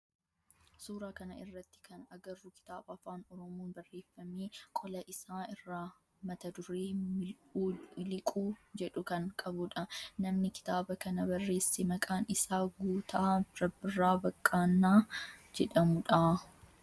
Suuraa kana irratti kan agarru kitaaba afaan oromoon barreeffame qola isaa irraa mata duree mil'uu miliquu jedhu kan qabudha. Namni kitaaba kana barreesse maqaan isaa Guutaa Rabbirraa Baqqaanaa jedhamu dha.